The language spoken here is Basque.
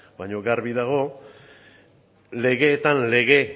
baino garbi dago legeetan lege